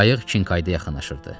Qayıq Kinkayda yaxınlaşırdı.